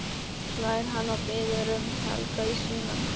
hlær hann og biður um Helga í símann.